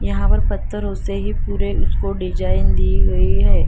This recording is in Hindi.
यहाँ पर पत्थरों से ही पूरें उसको डिज़ाइन दी गयी हैं।